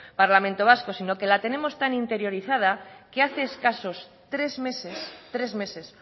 parlamento vasco sino que la tenemos tan interiorizada que hace escasos tres meses tres meses